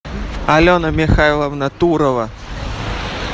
алена михайловна турова